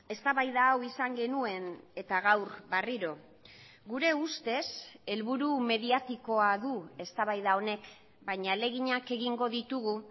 eztabaida hau izan genuen eta gaur berriro gure ustez helburu mediatikoa du eztabaida honek baina ahaleginak egingo ditugu